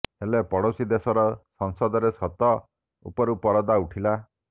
ହେଲେ ପଡ଼ୋଶୀ ଦେଶର ସଂସଦରେ ସତ ଉପରୁ ପରଦା ଉଠିଲା